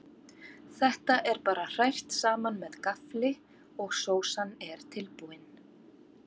Þetta er bara hrært saman með gaffli og sósan er tilbúin.